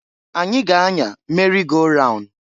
Anyi ga-anya merị go raun.